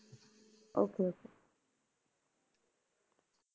Okay okay